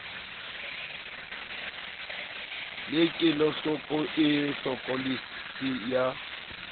le kelohloko e hlokolosi ya